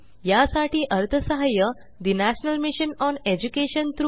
यासाठी अर्थसहाय्य national mission on education through I